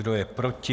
Kdo je proti?